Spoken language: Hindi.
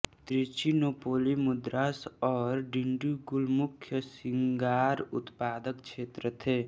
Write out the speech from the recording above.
त्रिचिनोपोली मद्रास और डिंडीगुल मुख्य सिगारउत्पादक क्षेत्र थे